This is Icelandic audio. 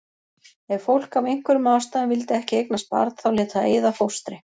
Ef fólk af einhverjum ástæðum vildi ekki eignast barn þá lét það eyða fóstri.